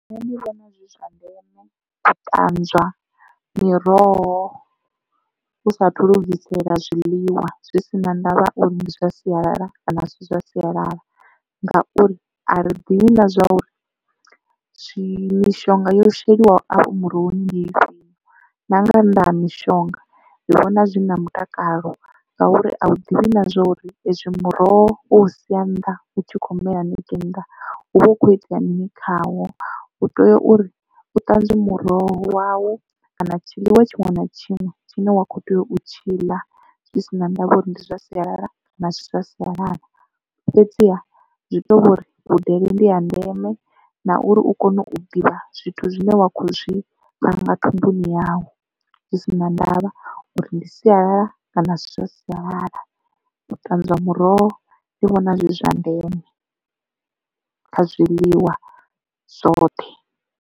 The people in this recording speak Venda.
Nṋe ndi vhona zwi zwa ndeme u ṱanzwa miroho u sa athu lugisela zwiḽiwa zwi si na ndavha uri ndi zwa sialala kana asi zwa sialala ngauri a ri ḓivhi na zwa uri zwi mishonga yo sheliwa ho afho murohoni ndi Ifhio na nga nnḓa ha mishonga ndi vhona zwi na mutakalo ngauri a u ḓivhi na zwori hezwi muroho wo u sia nnḓa u tshi kho mela haningei nnḓa u vha hu kho itea mini khawo. U tea uri u ṱanzwe muroho wau kana tshiḽiwa tshiṅwe na tshiṅwe tshine wa kho tea u tshiḽa zwi si na ndavha uri ndi zwa sialala na kana asi zwa sialala fhedziha zwi to vhori vhudele ndi ha ndeme na uri u kone u ḓivha zwithu zwine wa kho zwi panga thumbuni yau zwi si na ndavha uri ndi sialala kana asi zwa sialala u ṱanzwa muroho ndi vhona zwi zwa ndeme kha zwiḽiwa zwoṱhe.